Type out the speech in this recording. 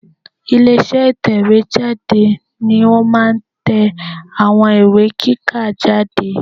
Ilé iṣẹ́ ìtẹ̀wé jáde ni ó máa n tẹ àwọn ìwé kíkà jáde